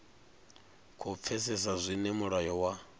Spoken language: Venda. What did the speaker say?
khou pfesesa zwine mulayo wa